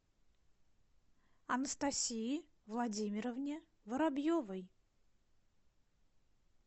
анастасии владимировне воробьевой